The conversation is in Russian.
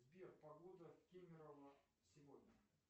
сбер погода в кемерово сегодня